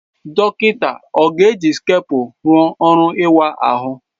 Dọkịta ọ ga-eji skapụ rụọ ọrụ ịwa ahụ?